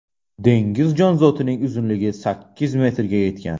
Dengiz jonzotining uzunligi sakkiz metrga yetgan.